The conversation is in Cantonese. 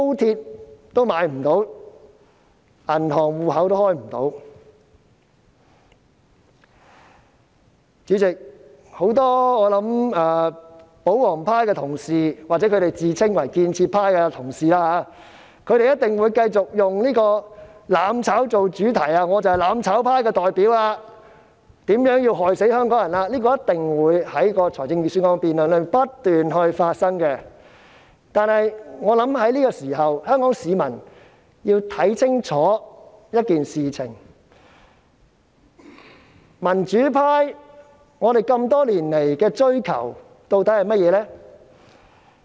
主席，我想很多保皇派的同事——或他們自稱為建設派——一定會繼續以"攬炒"作主題，說我是"攬炒"派的代表，如何害死香港人，這一定會在預算案辯論中不斷重複，但我想這刻香港市民要看清楚一點，民主派多年來追求的究竟是甚麼呢？